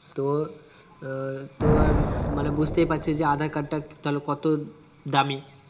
তো আহ তো আর মানে বুজতেই পারছিস যে aadhar card টা তাহলে কতো দামি